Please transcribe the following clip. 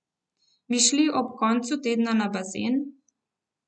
Bi šli ob koncu tedna na bazen?